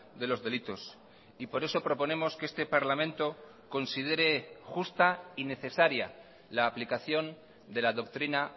de los delitos y por eso proponemos que este parlamento considere justa y necesaria la aplicación de la doctrina